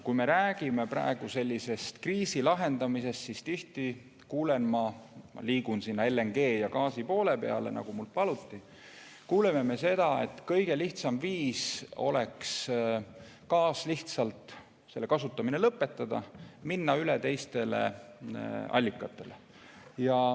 Kui me räägime praegu kriisi lahendamisest, siis tihti kuuleme seda – ma liigun sinna LNG teema poole, nagu mul paluti –, et kõige lihtsam viis oleks gaasi kasutamine lõpetada, minna üle teistele allikatele.